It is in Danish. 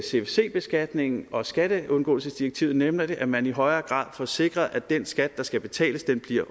cfc beskatningen og skatteundgåelsesdirektivet nemlig at man i højere grad får sikret at den skat der skal betales